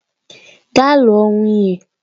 Gaa lụọ nwunye!